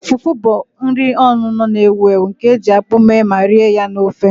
Fufu bụ nri onuno na-ewu ewu nke e ji akpu mee ma rie ya na ofe